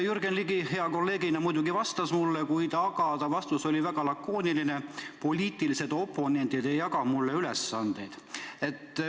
Jürgen Ligi hea kolleegina muidugi vastas mulle, kuid ta vastus oli väga lakooniline: poliitilised oponendid ei jaga mulle ülesandeid.